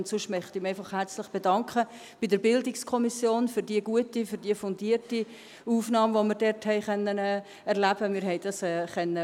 Und sonst möchte ich mich einfach herzlich bei der BiK für die gute, fundierte Aufnahme bedanken, die wir dort erleben konnten.